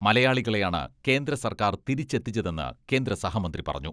മലയാളികളെയാണ് കേന്ദ്ര സർക്കാർ തിരിച്ചെത്തിച്ചതെന്ന് കേന്ദ്ര സഹമന്ത്രി പറഞ്ഞു.